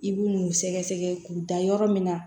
I b'u n'u sɛgɛsɛgɛ k'u da yɔrɔ min na